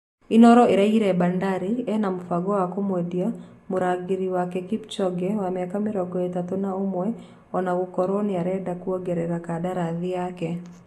Inooro ĩraugire Bandari ena mũbango wa kũmũendia Mũrangĩrĩ wake Kipchoge wa mĩaka mĩrongo ĩtatũ na ũmwe ona gũkorwo nĩarenda kũongerera kandarathi yake.